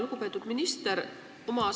Lugupeetud minister!